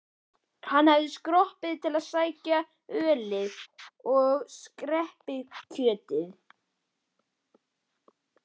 Hann hafði skroppið til að sækja ölið og skerpikjötið.